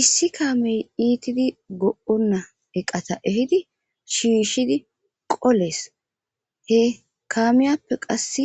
issi kaamey iitidi go7onna eqata ehidi shiishidi qolees he kaamiyappe qasse